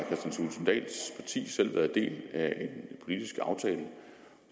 sige politisk